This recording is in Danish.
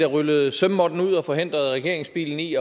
rullede sømmåtten ud og forhindrede regeringsbilen i